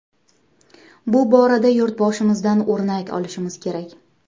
Bu borada Yurtboshimizdan o‘rnak olishimiz kerak.